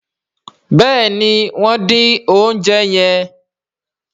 béèni wón din oúnjẹ yen.